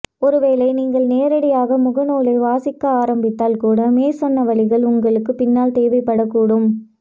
ஒருவேளை நீங்கள் நேரடியாக மூலநூலை வாசிக்க ஆரம்பித்தால் கூட மேற்சொன்ன வழிகள் உங்களுக்குப் பின்னால் தேவைப்படக்கூடும்